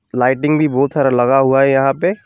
Lighting भी बहुत सारा लगा हुआ है यहां पे।